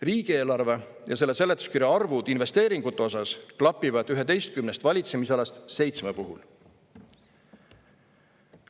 Riigieelarve ja selle seletuskirja arvud investeeringute osas klapivad 11 valitsemisalast seitsme puhul.